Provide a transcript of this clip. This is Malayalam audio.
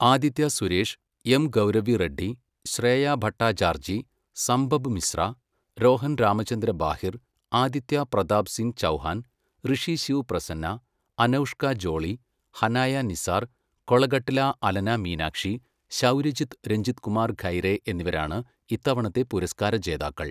ആദിത്യ സുരേഷ്, എം ഗൗരവി റെഡ്ഡി, ശ്രേയ ഭട്ടാചാർജി, സംഭബ് മിശ്ര, രോഹൻ രാമചന്ദ്ര ബാഹിർ, ആദിത്യ പ്രതാപ് സിങ് ചൗഹാൻ, ഋഷി ശിവ് പ്രസന്ന, അനൗഷ്ക ജോളി, ഹനായ നിസാർ, കൊളഗട്ട്ല അലന മീനാക്ഷി, ശൗര്യജിത്ത് രഞ്ജിത്കുമാർ ഖൈരെ എന്നിവരാണ് ഇത്തവണത്തെ പുരസ്കാരജേതാക്കൾ.